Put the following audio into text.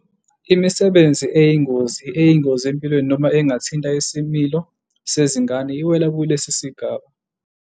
Imisebenzi eyingozi, eyingozi empilweni noma engathinta isimilo sezingane iwela kulesi sigaba.